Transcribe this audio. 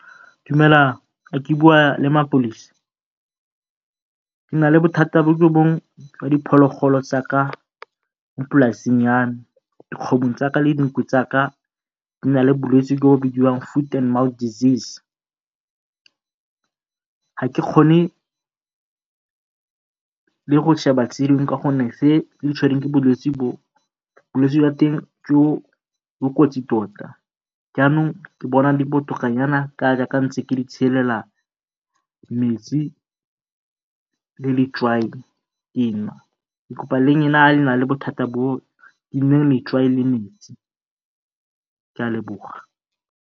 Dumelang, a ke bua le ke na le bothata jwa diphologolo tsa ka polaseng ya me. Dikgomo le dinku bo na le bolwetsi jo bidiwang foot and mouth disease. Ga ke kgone le go tse dingwe ka gonne tse di tshwerweng ke bolwetse bo, bolwetsejwa teng bo kotsi tota. Jaanong ke bona di botoka nyana ka ga ntse ke di metsi le letswai dinwa. Ke kopa le lena ga le na le bothata bo letswai le metsi, ke a leboga.